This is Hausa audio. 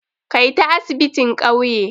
Kai ta asibitin ƙauye!